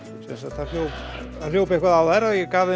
það hljóp hljóp eitthvað á þær